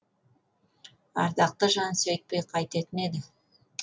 ардақты жан сөйтпей қайтетін еді